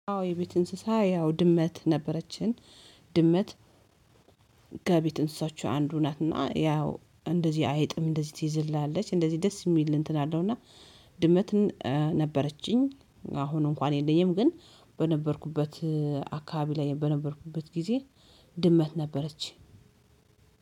የቤት እንስሳ ያው ድመት ነበረችን። ድመት። ከቤት እንስሶች አንዱ ናትና ያው እንደዚህ አይጥም እንደዚህ ትይዝልናለች እንደዚህ ደስ የሚል እንትን አለው። እና ድመት ነበረችኝ። አሁን እንኳን የለኝም። ግን በነበርኩበት አካባቢ ላይ በነበርኩበት ጊዜ ድመት ነበረች።